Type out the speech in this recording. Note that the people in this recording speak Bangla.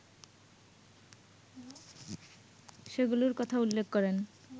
সেগুলোর কথা উল্লেখ করেন